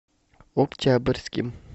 октябрьским